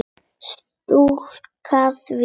Strjúka því.